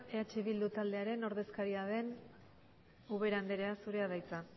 eh bildu taldearen ordezkaria den ubera andrea zurea da hitza